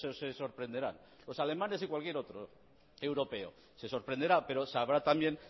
se sorprenderán los alemanes y cualquier otro europeo se sorprenderá pero sabrá también